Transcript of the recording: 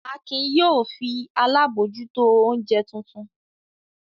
Akin yóò fi alábòójútó oúnjẹ tuntun!